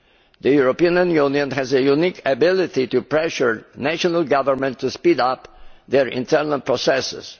The European Union has a unique ability to pressure national governments to speed up their internal processes.